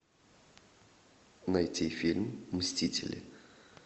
найти фильм мстители